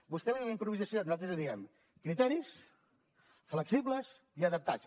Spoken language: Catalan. vostè en diu improvisació nosaltres en diem criteris flexibles i adaptats